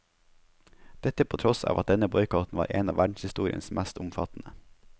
Dette på tross av at denne boikotten var en av verdenshistoriens mest omfattende.